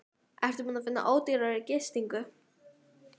Mublur eru ekki bara mublur, þær eru hluti af.